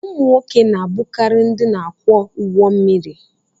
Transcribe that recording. ụmụ nwoke na-abụkarị ndị na-akwọ ụgbọ mmiri